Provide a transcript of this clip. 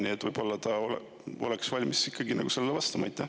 Nii et võib-olla ta oleks valmis ikkagi sellele vastama.